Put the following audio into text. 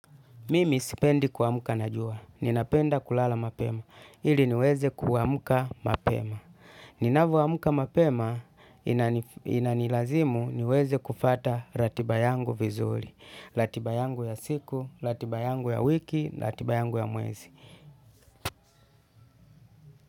Mimi sipendi kuamka na jua. Ninapenda kulala mapema. Ili niweze kuamka mapema. Ninavoamka mapema inanilazimu niweze kufuata ratiba yangu vizuri. Ratiba yangu ya siku, ratiba yangu ya wiki, ratiba yangu ya mwezi.